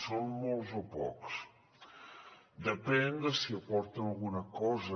són molts o pocs depèn de si aporten alguna cosa